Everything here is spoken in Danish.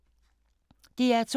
DR2